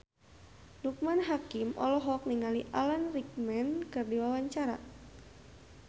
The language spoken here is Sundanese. Loekman Hakim olohok ningali Alan Rickman keur diwawancara